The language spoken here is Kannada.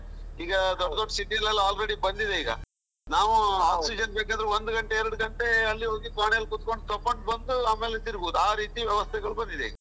ಈಗ ದೊಡ್ಡ ದೊಡ್ಡ city ಲೆಲ್ಲ already ಬಂದಿದೆ ಈಗ, ನಾವು oxygen ಬೇಕಂದ್ರೆ ಒಂದು ಗಂಟೆ ಎರಡು ಗಂಟೆ ಅಲ್ಲಿ ಹೋಗಿ ಕೋಣೆಯಲ್ಲಿ ಕುತ್ಕೊಂಡು ತಗೊಂಡು ಬಂದು, ಆಮೇಲೆ ತಿರುಗುವುದು, ಆ ರೀತಿ ವ್ಯವಸ್ಥೆಗಳು ಬಂದಿದೆ.